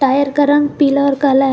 Tyre का रंग पीला और कला।